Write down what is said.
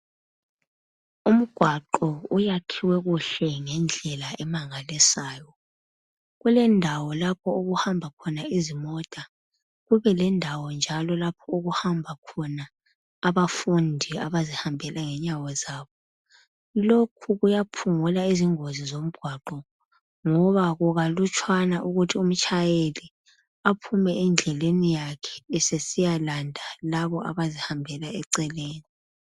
Umgwaqo uyakhiwe kuhle ngedlela emangalisayo. kuledawo lapho okuhamba khona izimota, kubelendawo njalo lapho okuhamba khona abafundi abazihambela ngenyawo zabo. Lokhu kuyaphungula izingozi zomgwaqo, ngoba kukalutshwana ukuthi umtshayeli aphume endleni yakhe esiyalanda labo abazihambela eceleni.